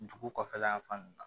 Dugu kɔfɛla yan fan na